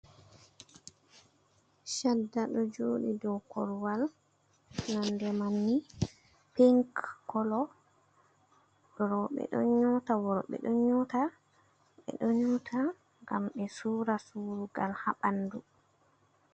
Chadda ɗo joɗi dow korwal, Nonde mamni pink Kolo. Roɓe ɗo nyota Worɓe ɗo nyota ngam be Sura surugal ha ɓandu.